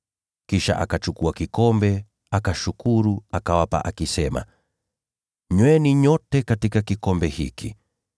Kisha akakitwaa kikombe, akashukuru, akawapa, akisema, “Nyweni nyote katika kikombe hiki.